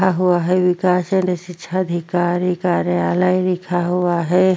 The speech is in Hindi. रखा हुआ है विकाश अधीक्षक अधिकारी कार्यालय लिखा हुआ हैं।